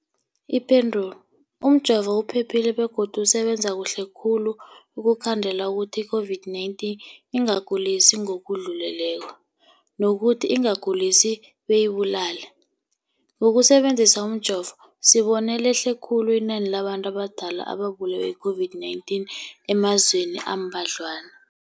Ipendulo, umjovo uphephile begodu usebenza kuhle khulu ukukhandela ukuthi i-COVID-19 ingakugulisi ngokudluleleko, nokuthi ingakugulisi beyikubulale. Ngokusebe nzisa umjovo, sibone lehle khulu inani labantu abadala ababulewe yi-COVID-19 emazweni ambadlwana.